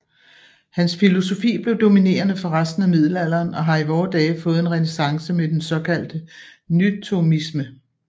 Hans filosofi blev dominerende for resten af middelalderen og har i vore dage fået en renæssance med den såkaldte nythomisme